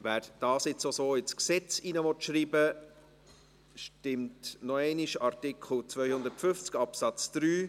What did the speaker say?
Wer dies nun so ins Gesetz schreiben will, stimmt zu Artikel 250 Absatz 3